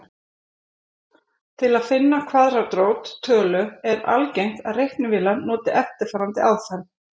Til að finna kvaðratrót tölu er algengt að reiknivélar noti eftirfarandi aðferð.